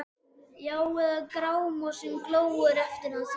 Já- eða Grámosinn glóir eftir hann Thor?